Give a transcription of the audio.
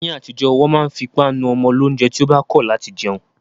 Ni atijo, wọn ma n fi ipa nu ọmọ lounjẹ ti o ba kọ lati jẹun